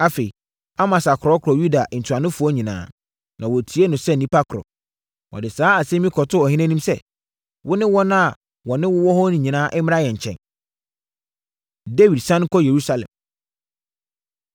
Afei, Amasa korɔkorɔɔ Yuda ntuanofoɔ nyinaa, ma wɔtiee no sɛ nnipa korɔ. Wɔde saa asɛm yi kɔtoo ɔhene anim sɛ, “Wo ne wɔn a wɔne wo wɔ hɔ no nyinaa mmra yɛn nkyɛn.” Dawid Sane Kɔ Yerusalem